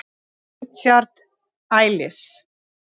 Richard Elis.